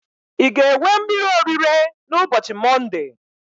I ga-ewe mmiri orire na ubochi monde?